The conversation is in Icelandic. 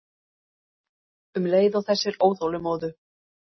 Um leið og þessir óþolinmóðu